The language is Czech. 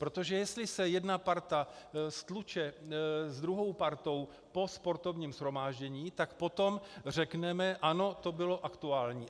Protože jestli se jedna parta stluče s druhou partou po sportovním shromáždění, tak potom řekneme ano, to bylo aktuální.